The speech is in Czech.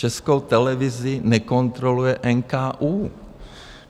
Českou televizi nekontroluje NKÚ.